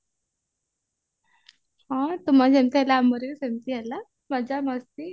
ହଁ ତୁମର ଯେମତି ହେଲା ଆମର ବି ସେମତି ହେଲା ମଜା ମସ୍ତି